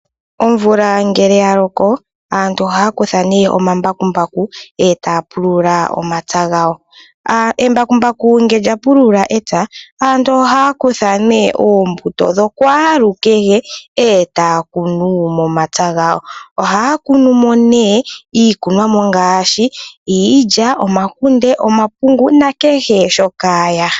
Omvula ngele yaloko aantu ohaya kutha omambakumbaku etaya pulula omapaya gawo. Embakumbaku ngele lyapulula epya aantu ohaya kutha oombuto dhokwaalukehe etaya kunu omapya gawo. Ohaya kunu iikunomwa ngaashi omakunde, omahangu, iilya nakehe shoka yahala.